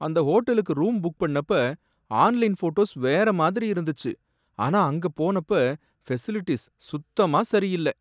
அந்த ஹோட்டலுக்கு room book பண்ணப்ப ஆன்லைன் ஃபோட்டோஸ் வேற மாதிரி இருந்துச்சு, ஆனா அங்க போனப்ப ஃபெசிலிட்டீஸ் சுத்தமா சரியில்ல.